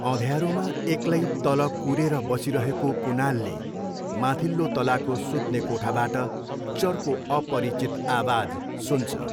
अँध्यारोमा एक्लै तल कुरेर बसिरहेको कुनालले माथिल्लो तलाको सुत्ने कोठाबाट चर्को अपरिचित आवाज सुन्छ।